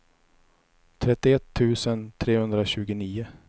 trettioett tusen trehundratjugonio